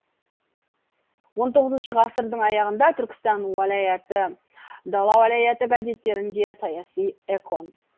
он тоғызыншы ғасырдың аяғында түркістан уалаяты дала уалаяты газеттерінде саяси экон